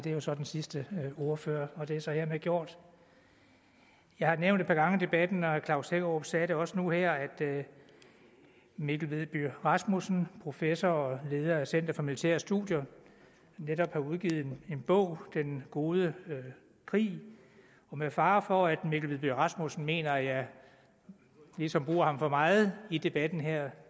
er jo så den sidste ordfører og det er så hermed gjort jeg har nævnt et par gange i debatten og herre klaus hækkerup sagde det også nu her at mikkel vedby rasmussen professor og leder af center for militære studier netop har udgivet en bog den gode krig og med fare for at mikkel vedby rasmussen mener at jeg ligesom bruger ham for meget i debatten her